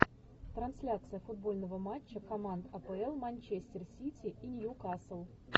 трансляция футбольного матча команд апл манчестер сити и ньюкасл